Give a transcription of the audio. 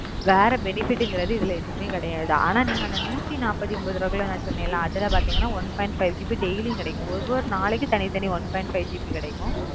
வேற fenifer இத்தல எதுமே கிடையாது அனா வந்துட்டு நீங்க நுதினபத்திஒன்பது போடுங்கனஅதுல பாத்தீங்கன்னா one five gb daily கிடைக்கும்